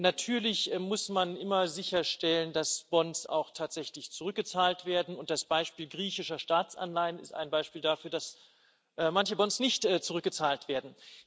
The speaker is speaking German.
Natürlich muss man immer sicherstellen, dass Bonds auch tatsächlich zurückgezahlt werden, und das Beispiel griechischer Staatsanleihen ist ein Beispiel dafür, dass manche Bonds nicht zurückgezahlt werden.